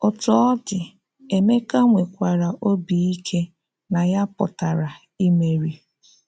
Ọ́tú ọ̀ dị, Emeka nwekwara òbì íké na ya pụtara imeri.